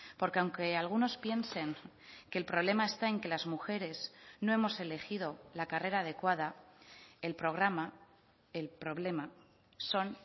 porque aunque algunos piensen que el problema está en que las mujeres no hemos elegido la carrera adecuada el programa el problema son